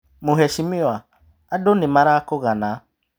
Mũhecimiwa andũ nĩmarakũgana.